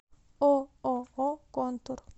ооо контур